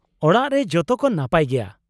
ᱚᱲᱟᱜ ᱨᱮ ᱡᱚᱛᱚ ᱠᱚ ᱱᱟᱯᱟᱭ ᱜᱮᱭᱟ ?